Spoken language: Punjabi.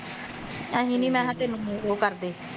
ਅਸੀਂ ਨੀ ਮੈਂ ਕਿਹਾਂ ਤੈਨੂੰ ਹੁਣ ਓਹ ਕਰਦੇ